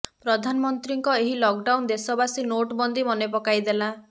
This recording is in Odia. ପ୍ରଧାନମନ୍ତ୍ରୀଙ୍କ ଏହି ଲକ୍ ଡାଉନ୍ ଦେଶବାସୀ ନୋଟ୍ ବନ୍ଦୀ ମନେପକାଇଦେଲା